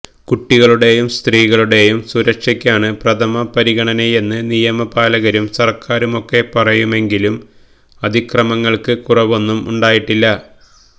കുട്ടികളുടേയും സ്ത്രീകളുടേയും സുരക്ഷയ്ക്കാണ് പ്രഥമപരിഗണനയെന്ന് നിയമപാലകരും സര്ക്കാറുമൊക്കെ പറയുമെങ്കിലും അതിക്രമങ്ങള്ക്ക് കുറവൊന്നും ഉണ്ടായിട്ടില്ല